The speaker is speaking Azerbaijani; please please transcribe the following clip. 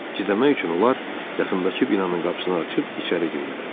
Gizlənmək üçün onlar yaxındakı binanın qapısını açıb içəri girdilər.